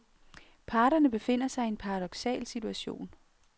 Parterne befinder sig i en paradoksal situation.